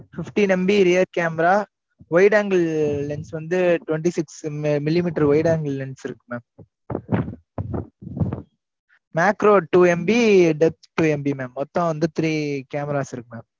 fifty MB read camera, wide angle lens வந்து, twenty six millimetre, wide angle lens இருக்கு, ma'am. macro two MB death two MB மொத்தம் வந்து, three cameras இருக்கு mam